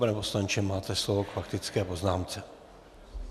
Pane poslanče, máte slovo k faktické poznámce.